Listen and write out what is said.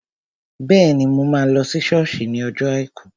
Bẹ́ẹ̀ni, mo máa lọ sí sọ́ọ̀sì ní ọjọ́ àìkú